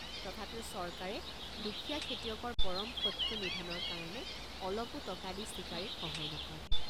তথাপিও চৰকাৰে দুখীয়া খেতিয়কৰ পৰম শত্ৰু নিধনৰ কাৰণে অলপো টকা দি চিকাৰীক সহায় নকৰে।